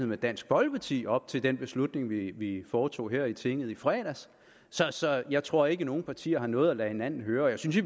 med at dansk folkeparti op til den beslutning vi vi foretog her i tinget i fredags så så jeg tror ikke at nogen partier har noget at lade hinanden høre jeg synes i